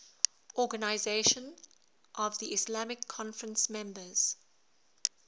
organisation of the islamic conference members